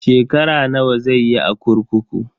Shekara nawa zai yi a kurkuku?